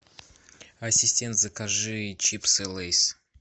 ассистент закажи чипсы лейс